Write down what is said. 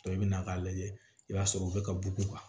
i bɛ na k'a lajɛ i b'a sɔrɔ u bɛ ka bugu